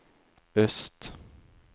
øst